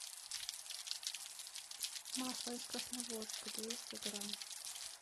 масло из красногорска двести грамм